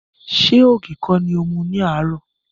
Ṣé ògì kọ́ ni o mu ní àárò?